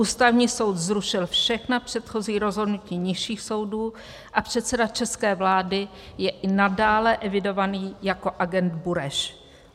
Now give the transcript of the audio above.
Ústavní soud zrušil všechna předchozí rozhodnutí nižších soudů a předseda české vlády je i nadále evidovaný jako agent Bureš.